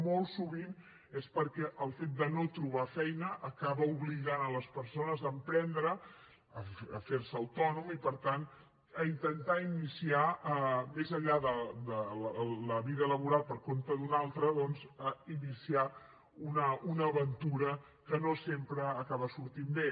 molt sovint és perquè el fet de no trobar feina acaba obligant les persones a emprendre a fer se autònom i per tant a intentar iniciar més enllà de la vida laboral per compte d’un altre doncs una aventura que no sempre acaba sortint bé